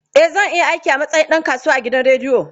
Eh, zan iya aiki a matsayin ɗan kasuwa a gidan rediyo.